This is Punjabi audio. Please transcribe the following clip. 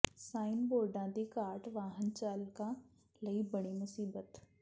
ਸਾਈਨ ਬੋਰਡਾਂ ਦੀ ਘਾਟ ਵਾਹਨ ਚਾਲਕਾਂ ਲਈ ਬਣੀ ਮੁਸੀਬਤ